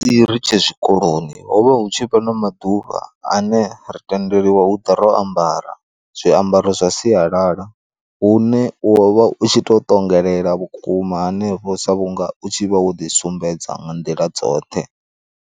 Ri tshe zwikoloni ho vha hu tshi vha na maḓuvha ane ra tendeliwa hu ḓo ro ambara zwiambaro zwa sialala hune u wa vha u tshi to ṱongela vhukuma hanefho sa vhunga u tshi vha wo ḓi sumbedza nga nḓila dzoṱhe.